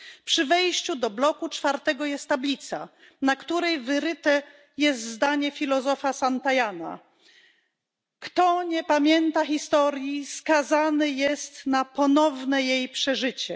Przy wejściu do bloku czwartego jest tablica, na której wyryte jest zdanie filozofa Santayany Kto nie pamięta historii, skazany jest na ponowne jej przeżycie.